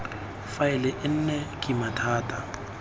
faele e nne kima thata